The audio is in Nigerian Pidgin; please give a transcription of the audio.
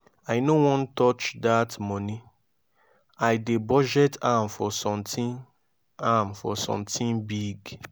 i no wan touch dat money i dey budget am for something am for something big